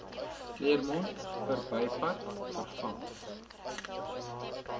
claremont verbypad vervang